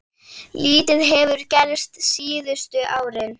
Lítið hefur gerst síðustu árin.